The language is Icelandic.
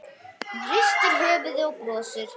Hún hristir höfuðið og brosir.